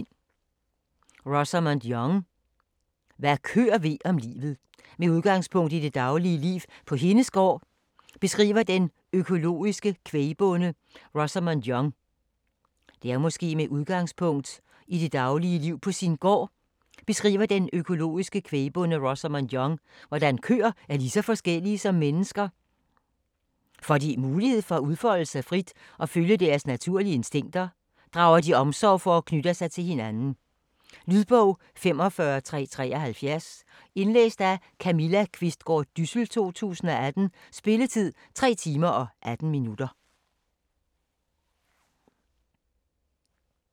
Young, Rosamund: Hvad køer ved om livet Med udgangspunkt i det daglige liv på hendes gård, beskriver den økologiske kvægbonde Rosamund Young hvordan køer er lige så forskellige som mennesker. Får de mulighed for at udfolde sig frit og følge deres naturlige instinkter, drager de omsorg for og knytter sig til hinanden. Lydbog 45373 Indlæst af Camilla Qvistgaard Dyssel, 2018. Spilletid: 3 timer, 18 minutter.